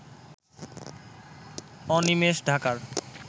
অনিমেষ ঢাকার